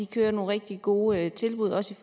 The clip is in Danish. kører nogle rigtig gode tilbud også